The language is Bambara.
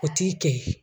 O t'i kɛ ye